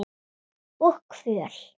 Og kvöl.